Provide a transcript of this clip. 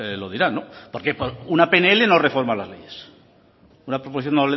lo dirán porque por una pnl no reforman las leyes por una proposición